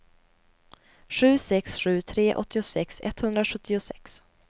sju sex sju tre åttiosex etthundrasjuttiosex